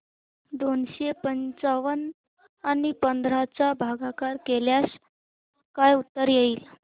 दोनशे पंच्याण्णव आणि पंधरा चा भागाकार केल्यास काय उत्तर येईल